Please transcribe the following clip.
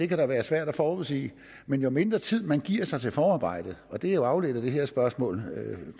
kan være svært at forudsige men jo mindre tid man giver sig til forarbejdet og det er jo afledt af det her spørgsmål